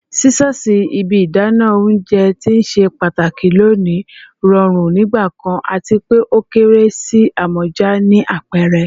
Scissors, ibi idana ounjẹ ti o ṣe pataki loni, rọrun nigbakan ati pe o kere si amọja ni apẹrẹ